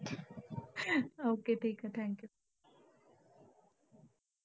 Okay ठीक ये thank you.